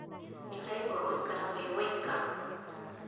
Nĩ ũraigua gũikara wĩ wũika?